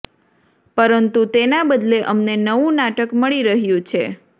પરંતુ તેના બદલે અમને નવું નાટક મળી રહ્યું છે